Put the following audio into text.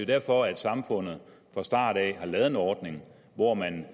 derfor samfundet fra starten har lavet en ordning hvor man